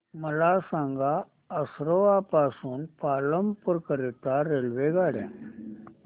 मला सांगा असरवा पासून पालनपुर करीता रेल्वेगाड्या